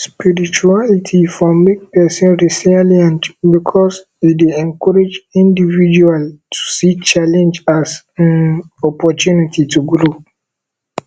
spirituality for make person resilient because e dey encourage individual to see challenge as um opportunity to grow